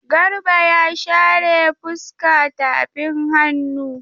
Garba ya share fuska tafin hannu.